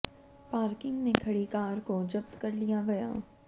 parking में खड़ी car को जब्त कर लिया गया